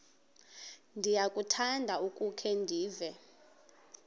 ndiyakuthanda ukukhe ndive